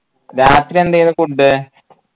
രാത്രി എന്തെന്നു food